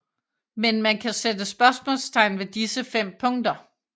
Men man kan sætte spørgsmålstegn ved disse fem punkter